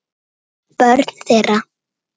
Börn þeirra